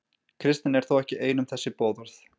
Kristnin er þó ekki ein um þessi boðorð.